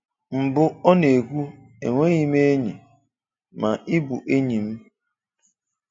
Mbụ̀, ọ̀ na-ekwù, “Enwèghị́ m enyi, mà ị bụ́ enyi m